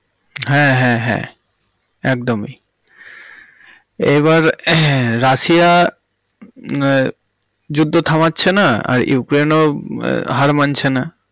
হ্যাঁ হ্যাঁ হ্যাঁ একদমই এবার রাশিয়া মম যুদ্ধ থামাচ্ছে না আর উক্রেনেও হার মানছেনা।